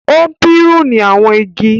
o piruni àwọn igi.